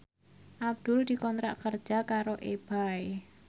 Abdul dikontrak kerja karo Ebay